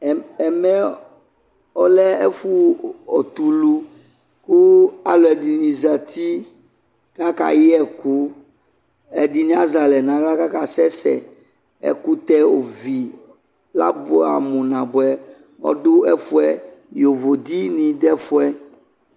Ɛm, ɛm, ɛmɛɛ ɔɔlɛ ɛfo tulu ko akupde ne zati kaka yɛku Ɛdene azɛ alɛ nahla kaka sɛsɛ Ɛkutɛ ovi, la buamu naboɛ ado ɛfuɛ yovo de ne dɛ ɛfuɛ